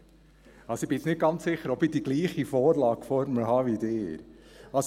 – Ich bin jetzt nicht ganz sicher, ob ich die gleiche Vorlage vor mir habe wie Sie.